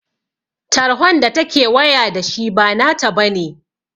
Tarhon da ta ke waya da shi ba na ta bane